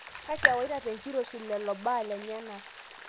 Kake ewaita te enkiroshii lelo baa lenyenak